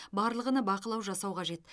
барлығына бақылау жасау қажет